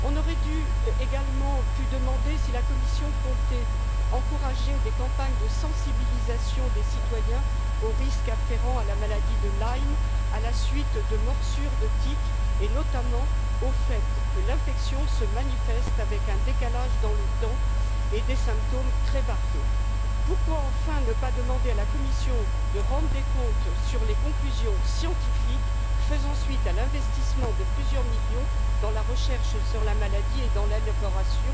Nous aurions également pu demander si la Commission comptait encourager des campagnes de sensibilisation aux risques afférents à la maladie de Lyme à la suite de morsures de tiques, et notamment au fait que l'infection se manifeste avec un décalage dans le temps et présente des symptômes très variés. Enfin, pourquoi ne pas demander à la Commission de rendre des comptes sur les conclusions scientifiques faisant suite à l'investissement de plusieurs millions dans la recherche sur la maladie et dans l'élaboration